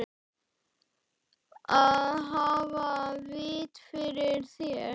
Að hafa vit fyrir þér?